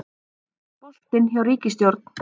Boltinn hjá ríkisstjórn